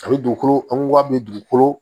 A bɛ dugukolo anko wari bɛ dugukolo